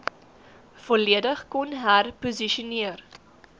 volledig kon herposisioneer